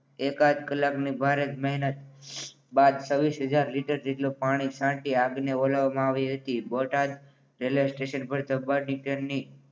એકાદ કલાકની બારે મહેનત બાદ છવ્વીસ હજાર લિટર જેટલું પાણી છાંટી આગને ઓલવવામાં આવી હતી. બોટાદ રેલવે સ્ટેશન પર ડબ્બાની ટ્રેનની